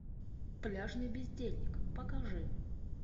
пляжный бездельник покажи